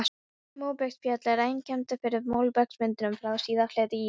Móbergsfjöll eru einkennandi fyrir móbergsmyndunina frá síðari hluta ísaldar.